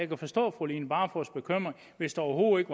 kunne forstå fru line barfods bekymring hvis der overhovedet